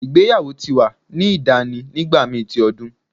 Igbeyawo ti wa ni dani nigbamii ti odun